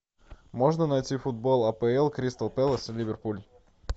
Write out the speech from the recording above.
можно найти футбол апл кристал пэлас и ливерпуль